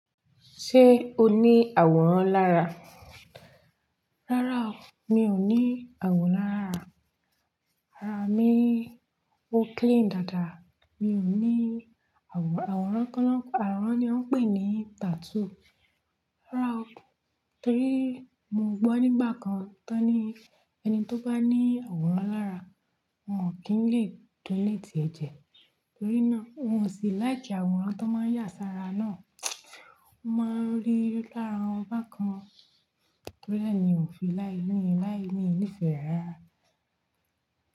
Ṣé o ní àwòrán lára? Rárá o, mi ò ní àwòrán lára. Ara mi ó clean dáadáa. Mi ò ní àwòrán, àwòrán ko nan. Àwòrán ni wọ́n ń pè ní tattoo. Rárá o. Torí mo gbọ́ nígbà kan tán ni ẹni tó bá ní àwòrán lára wọn kì í lè donate ẹ̀jẹ̀. Torí náà oun ó sì láìkí àwòrán tó n máa n yà sára náà. Mo máa ń rí lára wọn bákan. Torí náà ni n ò fi láí láí ní ìfẹ́ re ara.